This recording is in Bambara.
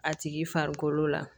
A tigi farikolo la